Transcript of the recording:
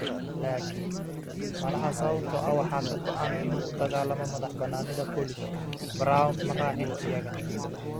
Laakiin - malaha sababtoo ah waxa ka go'an inuu u dagaalamo madaxbannaanida Polish, Browne ma raacin iyaga.